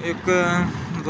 एक अ